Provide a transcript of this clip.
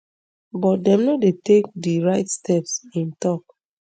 but dem no dey take di right steps im tok